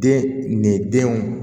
Den ni denw